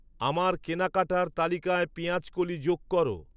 আমার কেনাকাটার তালিকায় পেঁয়াজকলি যোগ করো